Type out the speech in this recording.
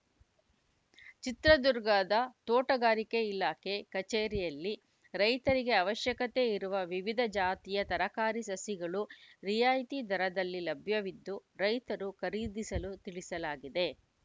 ಚಿತ್ರದುರ್ಗದ ತೋಟಗಾರಿಕೆ ಇಲಾಖೆ ಕಚೇರಿಯಲ್ಲಿ ರೈತರಿಗೆ ಅವಶ್ಯಕತೆ ಇರುವ ವಿವಿಧ ಜಾತಿಯ ತರಕಾರಿ ಸಸಿಗಳು ರಿಯಾಯಿತಿ ದರದಲ್ಲಿ ಲಭ್ಯವಿದ್ದು ರೈತರು ಖರೀದಿಸಲು ತಿಳಿಸಲಾಗಿದೆ